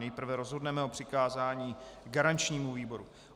Nejprve rozhodneme o přikázání garančnímu výboru.